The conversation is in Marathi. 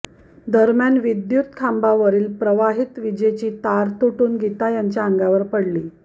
दरम्यान विद्युत खांबावरील प्रवाहित विजेची तार तुटून गीता यांच्या अंगावर पडली